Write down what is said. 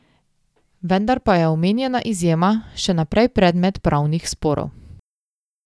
Vendar pa je omenjena izjema še naprej predmet pravnih sporov.